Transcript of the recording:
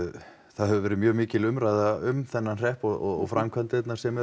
það hefur verið mjög mikil umræða um þennan hrepp og framkvæmdirnar sem